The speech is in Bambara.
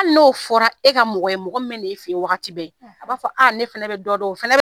Hali n'o fɔra e ka mɔgɔ ye mɔgɔ min bɛ na e fɛ yen wagati bɛɛ, a b'a fɔ a ne fana bɛdɔ dɔn a fana bɛ